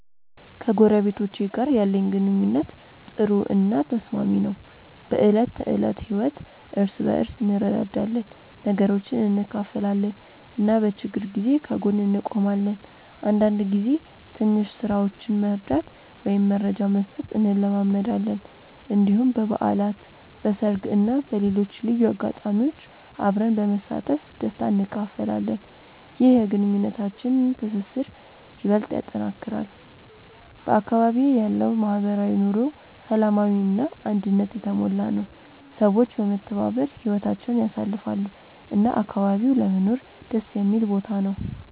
ከጎረቤቶቼ ጋር ያለኝ ግንኙነት ጥሩ እና ተስማሚ ነው። በዕለት ተዕለት ህይወት እርስ በርስ እንረዳዳለን፣ ነገሮችን እንካፈላለን እና በችግር ጊዜ ከጎን እንቆማለን። አንዳንድ ጊዜ ትንሽ ስራዎችን መርዳት ወይም መረጃ መስጠት እንለማመዳለን። እንዲሁም በበዓላት፣ በሰርግ እና በሌሎች ልዩ አጋጣሚዎች አብረን በመሳተፍ ደስታ እንካፈላለን። ይህ የግንኙነታችንን ትስስር ይበልጥ ያጠናክራል። በአካባቢዬ ያለው ማህበራዊ ኑሮ ሰላማዊ እና አንድነት የተሞላ ነው፤ ሰዎች በመተባበር ህይወታቸውን ያሳልፋሉ እና አካባቢው ለመኖር ደስ የሚል ቦታ ነው።